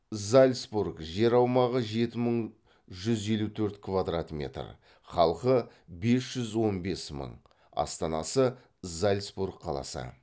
зальцбург жер аумағы жеті мың жүз елу төрт квадрат метр халқы бес жүз он бес мың астанасы зальцбург қаласы